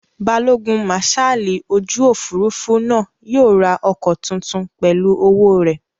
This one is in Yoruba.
Balógun màsáàlì ojú òfurufú náà yóò ra ọkọ̀ tuntun pẹ̀lú owó rẹ̀